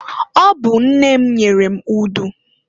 Ọ bụ nne m nyere m udu.